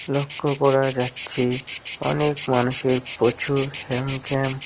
লক্ষ্য করা যাচ্ছে অনেক মানুষের প্রচুর।